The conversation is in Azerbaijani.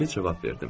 Sakit cavab verdim.